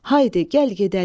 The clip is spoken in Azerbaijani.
Haydi, gəl gedəlim.